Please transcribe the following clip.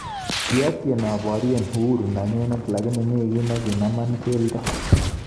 Kiatyen abarye uhuru nenyu lakini mi gi nekinama geldo